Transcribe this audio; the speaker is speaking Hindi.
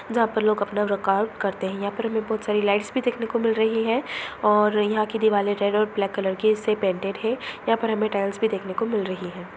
जहाँ पर लोग अपना वर्काउट करते हैं यहाँ पर हमें बहुत सारी लाइट भी दिखने को मिल रही है और यहाँ की दिवाले रेड और ब्लैक कलर की इससे पेंटेड है यहाँ पर हमें टाइल्स भी देखने को मिल रही है।